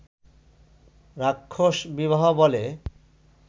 রাক্ষস বিবাহ বলে